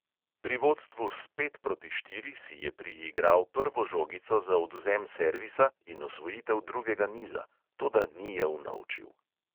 Pri vodstvu s pet proti štiri si je priigral prvo žogico za odvzem servisa in osvojitev drugega niza, toda ni je unovčil.